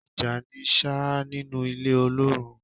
Ija ni sha nínú ilé ọlọrun.